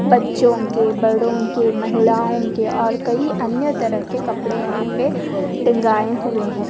बच्चो के बड़ो के महिलाओं के और कई अन्य तरह के कपड़े यहाँ पे टँगाये हुए है।